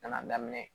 Nana daminɛ